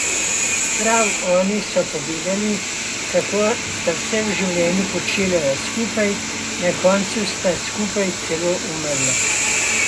Prav oni so povedali, kako sta vse v življenju počela skupaj, na koncu sta skupaj celo umrla.